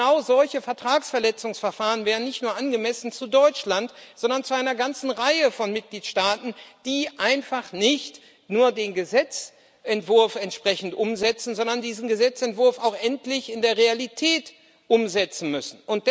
Und genau solche Vertragsverletzungsverfahren wären nicht nur angemessen für Deutschland, sondern für eine ganze Reihe von Mitgliedstaaten, die einfach nicht nur den Gesetzentwurf entsprechend umsetzen müssen, sondern diesen Gesetzentwurf auch endlich in der Realität umsetzen müssen.